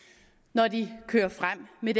når den kører frem med